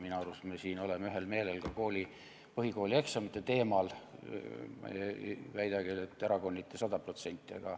Minu arust me oleme siin ühel meelel ka põhikoolieksamite teemal, ma ei väida küll, et erakonniti 100%.